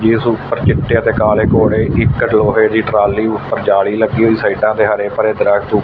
ਇਸ ਉੱਪਰ ਚਿੱਟੇ ਅਤੇ ਕਾਲੇ ਘੋੜੇ ਇਕ ਲੋਹੇ ਦੀ ਟਰਾਲੀ ਉੱਪਰ ਜਾਲੀ ਲੱਗੀ ਹੋਈ ਸਾਈਡਾਂ ਤੇ ਹਰੇ ਭਰੇ ਦਰਖਤ।